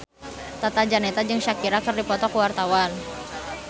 Tata Janeta jeung Shakira keur dipoto ku wartawan